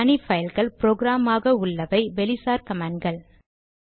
தனி பைல்கள் ப்ரொக்ராம் ஆக உள்ளவை வெளிசார் கமாண்ட் கள்